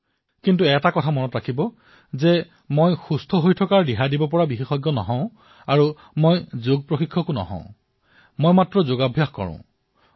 কিন্তু এটা কথা জানি লওক যে মই ফিটনেছ বিশেষজ্ঞ নহয় মই কোনো যোগ গুৰুো নহয় মই কেৱল এজন অনুশীলনকাৰীহে